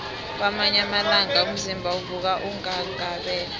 kwamanye amalanga umzimba uvuka unghanghabele